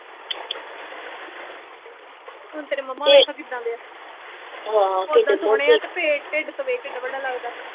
ਹੁਣ ਤੇਰੇ ਮੰਮਾ ਵੇਖ ਕਿੱਦਾਂ ਦੇ ਆ ਓਦਾ ਸੋਹਣੇ ਆ ਤੇ ਪੇ ਢਿੱਡ ਤੋਂ ਵੇਖ ਕਿੱਡਾ ਬੜਾ ਲੱਗਦਾ ਐ